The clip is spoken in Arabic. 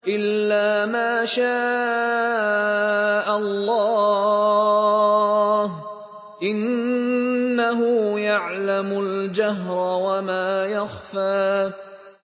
إِلَّا مَا شَاءَ اللَّهُ ۚ إِنَّهُ يَعْلَمُ الْجَهْرَ وَمَا يَخْفَىٰ